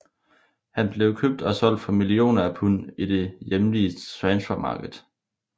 Han blev købt og solgt for millioner af pund i det hjemlige transfermarket